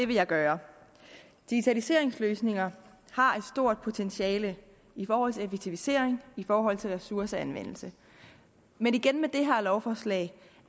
vil jeg gøre digitaliseringsløsninger har et stort potentiale i forhold til effektivisering i forhold til ressourceanvendelse men igen med det her lovforslag